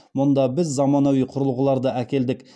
мұнда біз заманауи құрылғыларды әкелдік